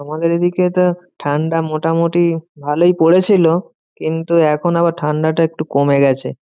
আমাদের এদিকে তো ঠান্ডা মোটামুটি ভালোই পড়েছিল, কিন্তু এখন আবার ঠান্ডাটা একটু কমে গেছে।